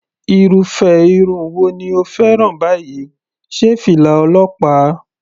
Irúfẹ́ irun wo ni o fẹ́ràn báyìí, sé fìlà ọlọ́pàá?.